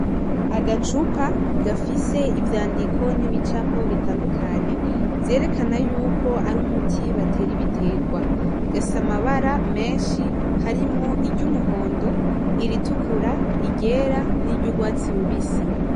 Agacupa gafise ivyandiko n'ibicapo bitandukanye, vyerekana yuko ari umuti batera ibitegwa , gafise amabara menshi harimwo iry'umuhondo , iritukura, iryera niry'urwatsi rubisi .